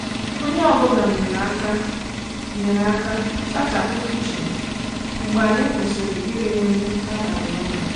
Onye ọ bụla nyere aka nyere aka sachapụ kichin mgbe anyị kwụsịrị iri nri abalị ọnụ.